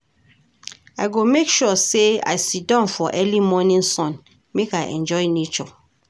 I go make sure sey I siddon for early morning sun make I enjoy nature.